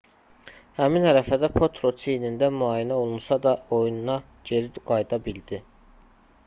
həmin ərəfədə potro çiynindən müayinə olunsa da oyuna geri qayıda bildi